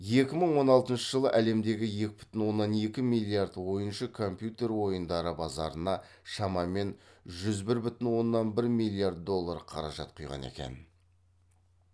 екі мың он алтыншы жылы әлемдегі екі бүтін оннан екі миллиард ойыншы компьютер ойындары базарына шамамен жүз бір бүтін оннан бір миллиард доллар қаражат құйған екен